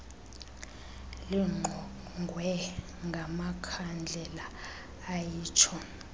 lingqongwe ngamakhandlela ayitsho